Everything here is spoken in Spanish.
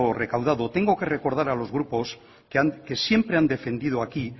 recaudado tengo que recordar a los grupos que siempre han defendido aquí